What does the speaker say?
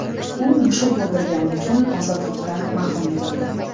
U mushuk o‘ldirgani uchun ozodlikdan mahrum etildi.